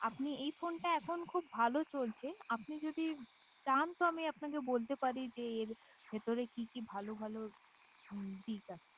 আপনি এই ফোনটা এখন খুব ভালো চলছে আপনি যদি চান তো আমি আপনাকে বলতে পারি যে এর ভিতরে কি কি ভালো ভালো দিক আছে